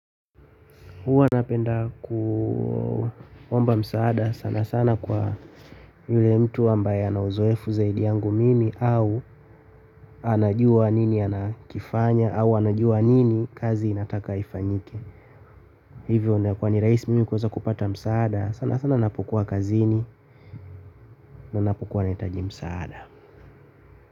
Huwa nanapenda kuomba msaada sana sana kwa yule mtu ambaye ana uzoefu zaidi yangu mimi au anajua nini anakifanya au anajua nini kazi inataka ifanyike. Hivyo inayokuwa ni rahisi mimi kuweza kupata msaada sana sana napokuwa kazini na napokuwa nahitaji msaada.